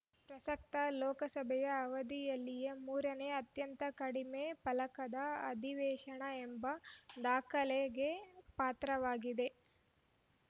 ಪ್ರಸಕ್ತ ಲೋಕಸಭೆಯ ಅವಧಿಯಲ್ಲಿಯೇ ಮೂರನೇ ಅತ್ಯಂತ ಕಡಿಮೆ ಫಲಕಂಡ ಅಧಿವೇಶನ ಎಂಬ ದಾಖಲೆಗೆ ಪಾತ್ರವಾಗಿದೆ